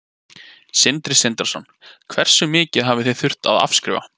Sindri Sindrason: Hversu mikið hafið þið þurft að afskrifa?